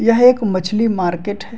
यह एक मछली मार्केट है।